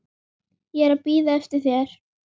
Ég er að bíða eftir þér.